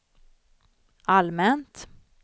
allmänt